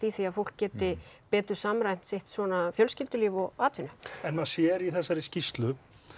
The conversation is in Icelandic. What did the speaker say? því að fólk geti betur samræmt sitt svona fjölskyldulíf og atvinnu en maður sér í þessari skýrslu